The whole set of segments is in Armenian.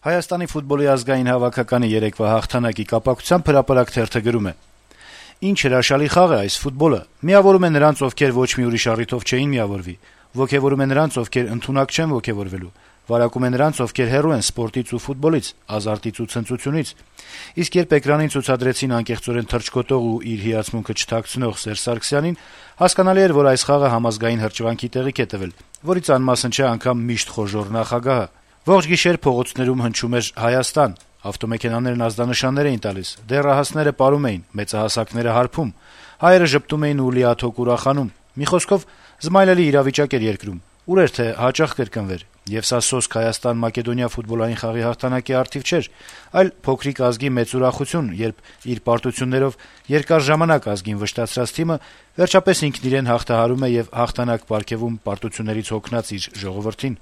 Հայաստանի ֆուտբոլի ազգային հավաքականի երեկվա հաղթանակի կապակցությամբ «Հրապարակ»-ը գրում է. - «Ինչ հրաշալի խաղ է այս ֆուտբոլը` միավորում է նրանց, ովքեր ոչ մի ուրիշ առիթով չէին միավորվի: Ոգեւորում է նրանց, ովքեր ընդունակ չեն ոգեւորվելու: Վարակում է նրանց, ովքեր հեռու են սպորտից ու ֆուտբոլից, ազարտից ու ցնծությունից: Իսկ երբ էկրանին ցուցադրեցին անկեղծորեն թռչկոտող ու իր հիացմունքը չթաքցնող Սերժ Սարգսյանին, հասկանալի էր, որ այս խաղը համազգային հրճվանքի տեղիք է տվել, որից անմասն չէ անգամ միշտ խոժոռ նախագահը: Ողջ գիշեր փողոցներում հնչում էր «Հա-յաս-տան», ավտոմեքենաներն ազդանշաններ էին տալիս, դեռահասները պարում էին, մեծահասակները` հարբում, հայերը ժպտում էին ու լիաթոք ուրախանում: Մի խոսքով՝ զմայլելի իրավիճակ էր երկրում: Ուր էր թե հաճախ կրկնվեր: Եվ սա սոսկ Հայաստան-Մակեդոնիա ֆուտբոլային խաղի հաղթանակի առիթով չէր, այլ փոքրիկ ազգի մեծ ուրախություն, երբ իր պարտություններով երկար ժամանակ ազգին վշտացրած թիմը վերջապես ինքն իրեն հաղթահարում է եւ հաղթանակ պարգեւում պարտություններից հոգնած իր ժողովրդին»: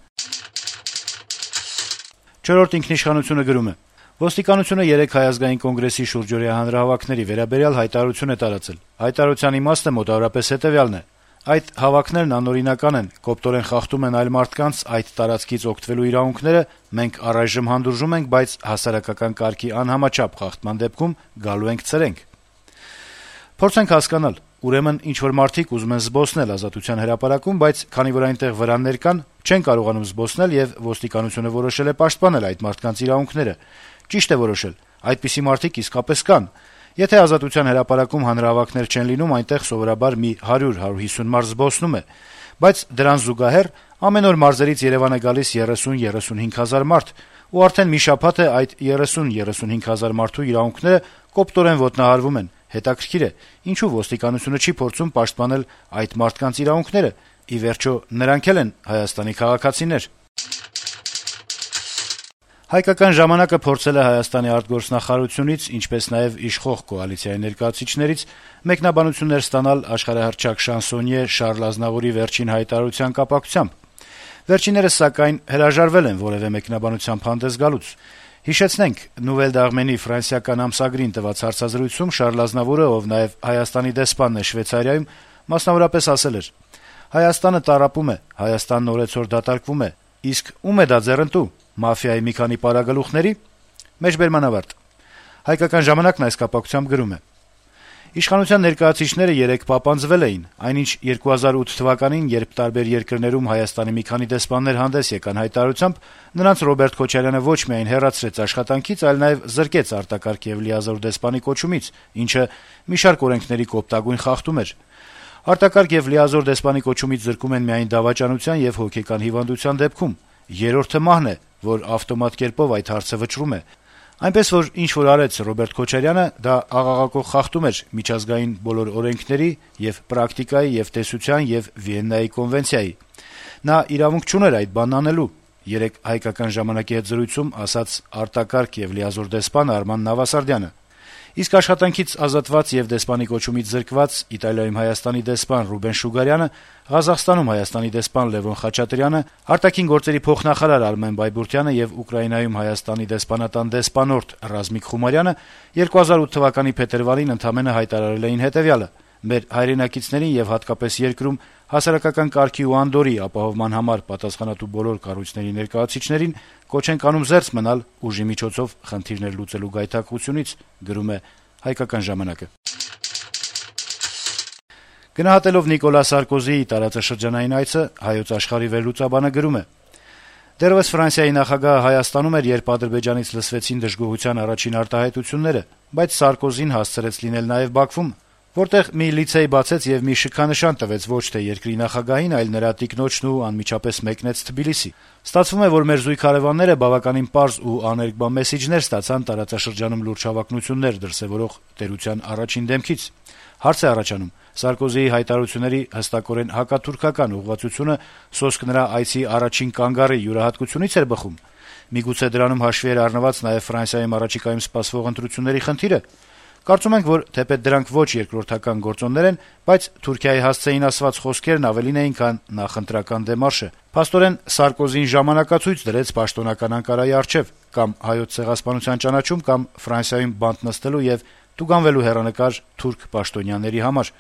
«Չորրորդ ինքիշխանություն»-ը գրում է. - «Ոստիկանությունը երեկ Հայ ազգային կոնգրեսի շուրջօրյա հանրահավաքների վերաբերյալ հայտարարություն է տարածել: Հայտարարության իմաստը մոտավորապես հետեւյալն է. այդ հավաքներն անօրինական են, կոպտորեն խախտում են այլ մարդկանց` այդ տարածքից օգտվելու իրավունքները, մենք առայժմ հանդուրժում ենք, բայց «հասարակական կարգի անհամաչափ խախտման» դեպքում գալու ենք, ցրենք: Փորձենք հասկանալ: Ուրեմն` ինչ-որ մարդիկ ուզում են զբոսնել Ազատության հրապարակում, բայց քանի որ այնտեղ վրաններ կան` չեն կարողանում զբոսնել, եւ ոստիկանությունը որոշել է պաշտպանել այդ մարդկանց իրավունքները: Ճիշտ է որոշել, այդպիսի մարդիկ իսկապես կան: Եթե Ազատության հրապարակում հանրահավաքներ չեն լինում. Այնտեղ սովորաբար մի 100-150 մարդ է զբոսնում է: Բայց դրան զուգահեռ ամեն օր մարզերից Երեւան է գալիս 30-35 հազար մարդ, ու արդեն մի շաբաթ է` այդ 30-35 հազար մարդու իրավունքները կոպտորեն ոտնահարվում են: Հետաքրքիր է` ինչո՞ւ ոստիկանությունը չի փորձում պաշտպանել այդ մարդկանց իրավունքները: Ի վերջո` նրանք էլ են ՀՀ քաղաքացիներ»: «Հայկական ժամանակ»-ը փորձել է Հայաստանի արտգործնախարարությունից, ինչպես նաեւ իշխող կոալիցիայի ներկայացուցիչներից մեկնաբանություններ ստանալ աշխարհահռչակ շանսոնյե Շառլ Ազնավուրի վերջին հայտարարության կապակցությամբ: Վերջիններս, սակայն, հրաժարվել են որեւէ մեկնաբանությամբ հանդես գալ: Հիշեցնենք, որ Nouvelles d’Armenie ֆրանսիական ամսագրին տված հարցազրույցում Շառլ Ազնավուրը, ով նաեւ Հայաստանի դեսպանն է Շվեյցարիայում, մասնավորապես, ասել էր. - «Հայաստանը տառապում է: Հայաստանն օրեցօր դատարկվում է: Իսկ ո՞ւմ է ձեռնտու դա: Մաֆիայի մի քանի պարագլուխների՞»: Թերթն այդ կապակցությամբ գրում է. - «Իշխանության ներկայացուցիչները երեկ պապանձվել էին: Այնինչ, 2008 թվականին, երբ տարբեր երկրներում ՀՀ մի քանի դեսպաններ հանդես եկան հայտարարությամբ, նրանց Ռոբերտ Քոչարյանը ոչ միայն հեռացրեց աշխատանքից, այլ նաև զրկեց արտակարգ եւ լիազոր դեսպանի կոչումից, ինչը մի շարք օրենքների կոպտագույն խախտում էր: «Արտակարգ եւ լիազոր դեսպանի կոչումից զրկում են միայն դավաճանության եւ հոգեկան հիվանդության դեպքում. Երրորդը մահն է, որ ավտոմատ կերպով այդ հարցը վճռում է: Այնպես որ, ինչ որ արեց Ռոբերտ Քոչարյանը, դա աղաղակող խախտում էր միջազգային բոլոր օրենքների եւ պրակտիկայի եւ տեսության եւ Վիեննայի կոնվենցիայի: Նա իրավունք չուներ այդ բանն անելու», - երեկ «Հայկական ժամանակ»-ի հետ զրույցում ասաց արտակարգ եւ լիազոր դեսպան Արման Նավասարդյանը: Իսկ աշխատանքից ազատված եւ դեսպանի կոչումից զրկված Իտալիայում ՀՀ դեսպան Ռուբեն Շուգարյանը, Ղազախստանում ՀՀ դեսպան Լեւոն Խաչատրյանը, ԱԳ փոխնախարար Արմեն Բայբուրդյանը եւ Ուկրաինայում ՀՀ դեսպանատան դեսպանորդ Ռազմիկ Խումարյանի 2008 թվականի փետրվարին ընդամենը հայտարարել էին հետեւյալը. - «Մեր հայրենակիցներն եւ հատկապես երկրում հասարակական կարգի ու անդորրի ապահովման համար պատասխանատու բոլոր կառույցների ներկայացուցիչներին կոչ ենք անում զերծ մնալ ուժի միջոցով խնդիրներ լուծելու գայթակղությունից»: Գնահատելով Նիկոլա Սարկոզիի տարածաշրջանային այցը «Հայոց աշխարհ»-ի վերլուծաբանը գրում է. - «Դեռեւս Ֆրանսիայի նախագահը Հայաստանում էր, երբ Ադրբեջանից լսվեցին դժգոհության առաջին արտահայտությունները, բայց Սարկոզին հասցրեց լինել նաեւ Բաքվում, որտեղ մի լիցեյ բացեց եւ մի շքանշան տվեց ոչ թե երկրի նախագահին, այլ նրա տիկնոջն ու անմիջապես մեկնեց Թբիլիսի։ Ստացվում է, որ մեր զույգ հարեւանները բավականին պարզ ու աներկբա մեսիջներ ստացան՝ տարածաշրջանում լուրջ հավակնություններ դրսեւորող տերության առաջին դեմքի կողմից։ Հարց է առաջանում. Սարկոզիի հայտարարությունների հստակորեն հակաթուրքական ուղղվածությունը սոսկ նրա այցի «առաջին կանգառի» յուրահատկությունի՞ց էր բխում։ Միգուցե դրանում հաշվի էր առնված նաեւ Ֆրանսիայում առաջիկայում սպասվող ընտրությունների խնդիրը... Կարծում ենք, որ թեպետ դրանք ոչ երկրորդական գործոններ են, բայց Թուրքիայի հասցեին ասված խոսքերն ավելին էին, քան նախընտրական դեմարշը։ Փաստորեն Սարկոզին ժամանակացույց դրեց պաշտոնական Անկարայի առջեւ՝ կա՛մ Հայոց ցեղասպանության ճանաչում, կա՛մ Ֆրանսիայում բանտ նստելու եւ տուգանվելու հեռանկար թուրք պաշտոնյաների համար»։